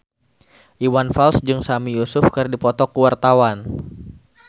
Iwan Fals jeung Sami Yusuf keur dipoto ku wartawan